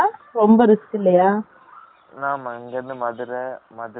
ஆமா, இங்க இருந்து மதுரை, மதுரையில இருந்து,